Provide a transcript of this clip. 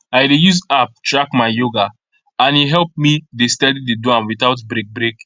i dey use app track my yoga and e help me dey steady dey do am without break break